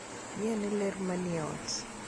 Ng'iane ler manie ot.